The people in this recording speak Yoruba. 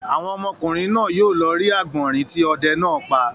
Àwọn ọmọkùnrin náà yóò lọ rí àgbọ̀rìn tí ọdẹ náà pa.